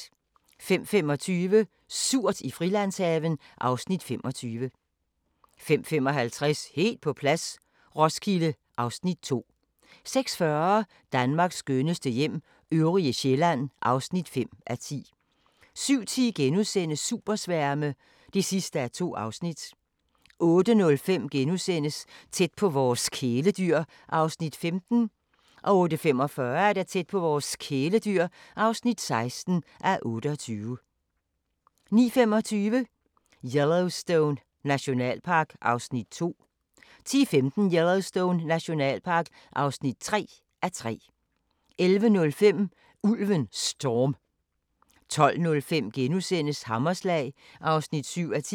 05:25: Surt i Frilandshaven (Afs. 25) 05:55: Helt på plads - Roskilde (Afs. 2) 06:40: Danmarks skønneste hjem - øvrige Sjælland (5:10) 07:10: Supersværme (2:2)* 08:05: Tæt på vores kæledyr (15:28)* 08:45: Tæt på vores kæledyr (16:28) 09:25: Yellowstone Nationalpark (2:3) 10:15: Yellowstone Nationalpark (3:3) 11:05: Ulven Storm 12:05: Hammerslag (7:10)*